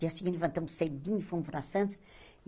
Dia seguinte, levantamos cedinho e fomos para Santos.